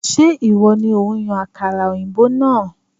Ṣé ìwọ ni òun yan àkàrà òyìnbó náà?